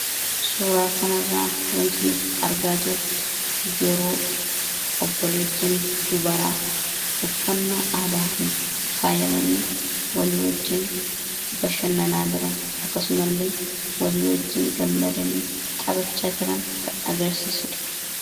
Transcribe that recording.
suuraa kana irraa wanti nuti argaa jirru yeroo obboleettonni dubaraa uffannaa aadaatiin faayamanii walii wajjiin bashannanaa jiran akkasuma illee walii wajjiin gammadanii xabachaa jiran kan agarsiisuudha